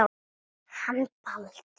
Hann Baldur.